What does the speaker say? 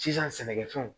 Sisan sɛnɛkɛfɛnw